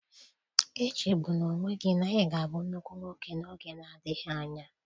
Echegbula onwe gị na ị ga-abụ nnukwu nwoke n'oge adịghị anya.